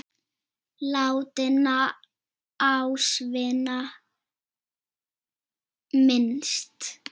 Látinna ástvina minnst.